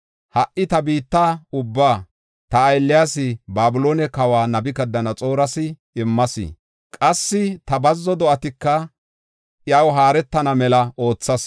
Ha77i ta biitta ubbaa ta aylliyas, Babiloone kawa Nabukadanaxooras immas. Qassi ta bazzo do7atika iyaw haaretana mela oothas.